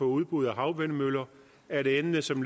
udbud af havvindmøller er et emne som